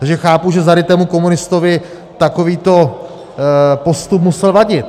Takže chápu, že zarytému komunistovi takovýto postup musel vadit.